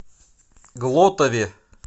глотове